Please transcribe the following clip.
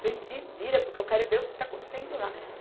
Falei, se vira, porque eu quero ver o que está acontecendo lá.